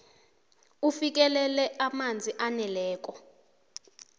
ufikelela amanzi aneleko